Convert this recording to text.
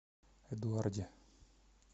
эдуарде